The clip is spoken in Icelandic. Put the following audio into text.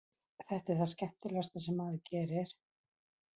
Þetta er það skemmtilegasta sem maður gerir.